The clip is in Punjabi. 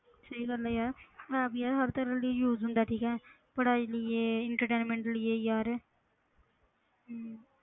ਸਹੀ ਗੱਲ ਹੈ ਯਾਰ app ਯਾਰ ਹਰ ਤਰ੍ਹਾਂ ਲਈ use ਹੁੰਦਾ ਹੈ ਠੀਕ ਹੈ ਪੜ੍ਹਾਈ ਲਈਏ entertainment ਲਈਏ ਯਾਰ ਹਮ